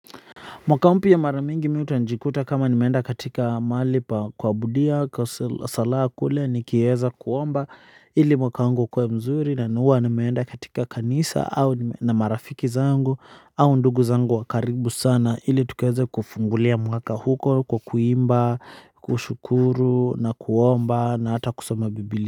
Mwaka mpia maramingi mi utanjikuta kama nimeenda katika mali pa kwa budia kwa sala kule nikieza kuomba ili mwakaungu kwa mzuri na nuwa nimeenda katika kanisa na marafiki zangu au ndugu zangu wakaribu sana ili tukueze kufungulia mwaka huko kwa kuimba kushukuru na kuomba na hata kusoma biblia.